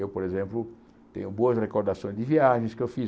Eu, por exemplo, tenho boas recordações de viagens que eu fiz.